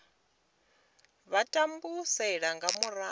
vha a tambulesa nga mulandu